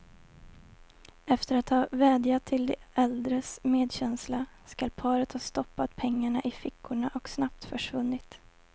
Efter att ha vädjat till de äldres medkänsla skall paret ha stoppat pengarna i fickorna och snabbt försvunnit.